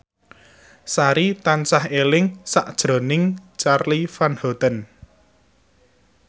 Sari tansah eling sakjroning Charly Van Houten